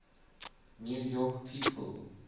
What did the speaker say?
new york people